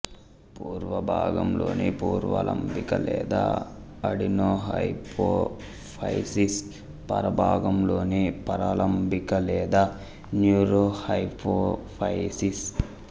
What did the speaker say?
పూర్వ భాగంలోని పూర్వలంబిక లేదా అడినోహైపోఫైసిస్ పర భాగంలోని పరలంబిక లేదా న్యూరోహైపోఫైసిస్